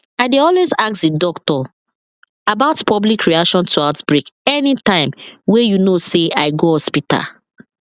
i dey always ask the doctor about public reaction to outbreak anytym wey you know say i go hospital